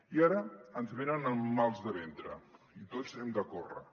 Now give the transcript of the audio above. i ara ens venen amb mals de ventre i tots hem de córrer